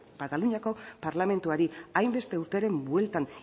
kataluniako parlamentuari hainbeste urteren bueltan